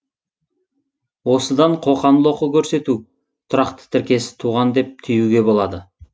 осыдан қоқан лоқы көрсету тұрақты тіркесі туған деп түюге болады